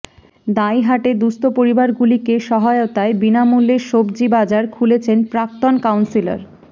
দাঁইহাটে দুঃস্থ পরিবারগুলিকে সহায়তায় বিনামূল্যের সবজি বাজার খুলেছেন প্রাক্তন কাউন্সিলার